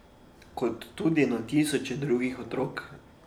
Kot tudi na tisoče drugih otrok.